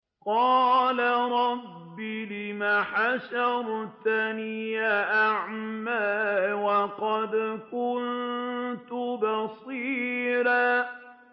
قَالَ رَبِّ لِمَ حَشَرْتَنِي أَعْمَىٰ وَقَدْ كُنتُ بَصِيرًا